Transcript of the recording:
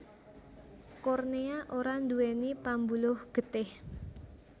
Kornéa ora nduwèni pambuluh getih